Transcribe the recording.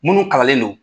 Munnu kalanlen don